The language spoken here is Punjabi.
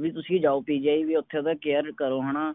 ਵੀ ਤੁਸੀਂ ਜਾਓ PGI ਵੀ ਓਥੇ ਓਹਦਾ care ਕਰੋ ਹੈਨਾ